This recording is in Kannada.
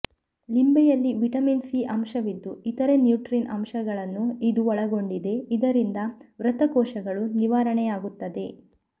ಲಿಂಬೆಯಲ್ಲಿ ವಿಟಮಿನ್ ಸಿ ಅಂಶವಿದ್ದು ಇತರೆ ನ್ಯೂಟ್ರೀನ್ ಅಂಶಗಳನ್ನು ಇದು ಒಳಗೊಂಡಿದೆ ಇದರಿಂದ ಮೃತ ಕೋಶಗಳೂ ನಿವಾರಣೆಯಾಗುತ್ತದೆ